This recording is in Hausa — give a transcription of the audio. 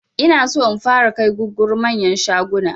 Inaso in fara kai gugguru manyan shaguna